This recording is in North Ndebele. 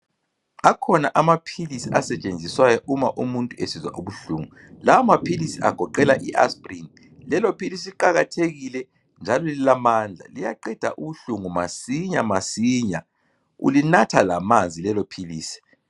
Akhona amaphilisi asetshenziswayo uma umuntu sesizwa ubuhlungu. Lawo maphilisi agoqela i aspirin. Lelophilisi liqakathekile njalo lila mandla. Liyaqeda ubuhlungu masinya masinya. Ulinatha lamanzi lelo philisi.